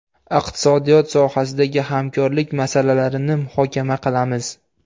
Iqtisodiyot sohasidagi hamkorlik masalalarini muhokama qilamiz.